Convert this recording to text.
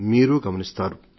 మీరూ గమనిస్తారు